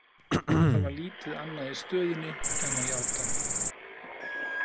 En það var lítið annað í stöðunni en að játa.